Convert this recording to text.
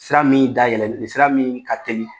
Sira min da yɛlɛ ni sira min ka teli